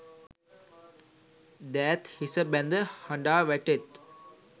දෑත් හිස බැඳ හඬා වැටෙත්.